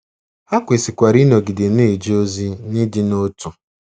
Ha kwesịkwara ịnọgide na-eje ozi n’ịdị n’otu.